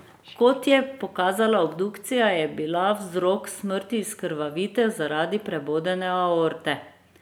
Kot je pokazala obdukcija, je bila vzrok smrti izkrvavitev zaradi prebodene aorte.